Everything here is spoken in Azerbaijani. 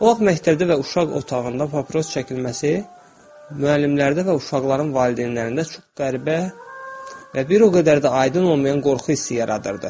Ox məktəbdə və uşaq otağında papiros çəkilməsi müəllimlərdə və uşaqların valideynlərində çox qəribə və bir o qədər də aydın olmayan qorxu hissi yaradırdı.